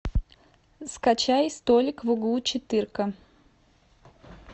скачай столик в углу четырка